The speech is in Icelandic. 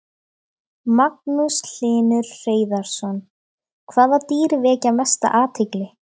Magnús Hlynur Hreiðarsson: Hvaða dýr vekja mesta athygli?